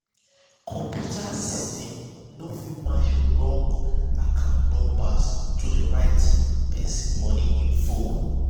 computer system no fit match wrong account numbers to the right person money info.